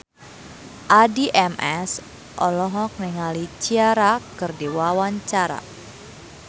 Addie MS olohok ningali Ciara keur diwawancara